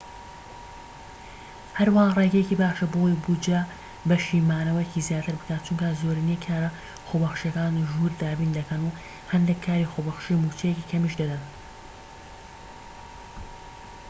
هەروەها ڕێگەیەکی باشە بۆ ئەوەی بوجە بەشی مانەوەیەکی زیاتر بکات چونکە زۆرینەی کارە خۆبەخشیەکان ژوور دابین دەکەن و هەندێك کاری خۆبەخشی موچەیەکی کەمیش دەدەن